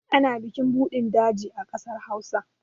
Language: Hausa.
Ana bikin budin daji a ƙasar Hausa.